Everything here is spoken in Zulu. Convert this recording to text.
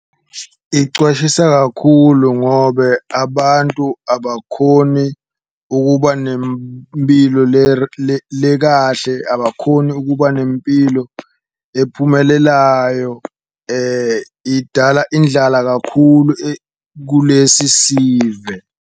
Icwashisa kakhulu ngobe abantu abakhoni ukuba nempilo lekahle, abakhoni ukuba nempilo ephumelelayo idala indlala kakhulu kulesi sive.